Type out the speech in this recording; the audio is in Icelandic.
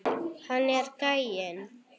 Þetta er gæinn!